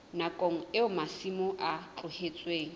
nakong eo masimo a tlohetsweng